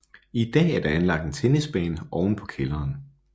I dag er der anlagt en tennisbane oven på kælderen